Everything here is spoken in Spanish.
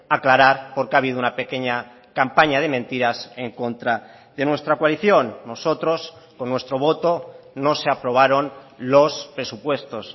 aclarar porque ha habido una pequeña campaña de mentiras en contra de nuestra coalición nosotros con nuestro voto no se aprobaron los presupuestos